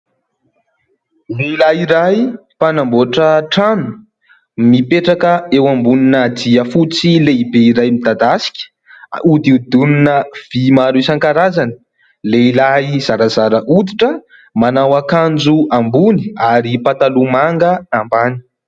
Lehilahy iray mpanamboatra trano mipetraka eo ambonina jiafotsy lehibe iray midadasika hodidinina vy maro isan-karazany. Lehilahy zarazara hoditra manao akanjo ambony ary pataloha manga ambany.